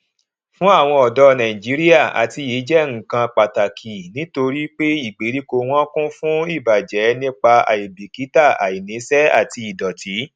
fún àwon ọdọ nàìjíríà àtiyè jẹ nnkan pàtàkì nítorí pé ìgbèríko wọn kún fún ìbàjẹ nípa àìbìkítà àìníṣẹ àti ìdòtí